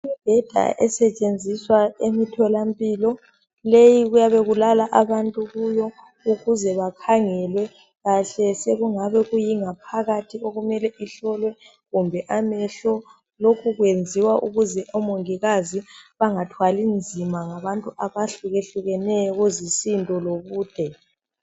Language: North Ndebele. Imbheda esetshenziswa emitholampilo. Leyi kuyabe kulala abantu kuyo. Kufuze bakhangelwe kahle isekungabe iyingaphakathi, okumele ihlolwe, kumbe amehlo. Lokhu kwenziwa ukuze omongikazi bangathwali nzima ngabantu abahlukehlukeneyo kuzisindo. lobude.